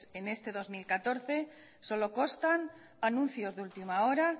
en este dos mil catorce solo constan anuncios de última hora